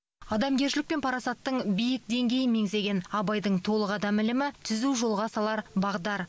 адамгершілік пен парасаттың биік деңгейін меңзеген абайдың толық адам ілімі түзу жолға салар бағдар